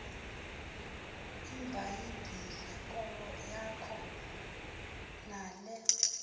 ibhayibhile yakho nale